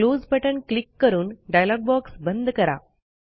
close button click करून dialog box बंद करा